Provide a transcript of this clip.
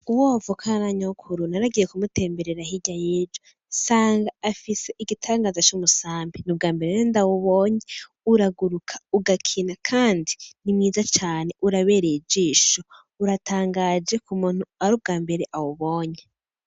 Uwo bavukana na nyokuru naragiye kumutemberera hirya y'ejo nsanga afise igitangaza c'umusambi nubwambere nari ndabwubonye, uraguruka ugakina Kandi nimwiza cane urabereye ijisho uratangaje k’umuntu arubwambere awubonye.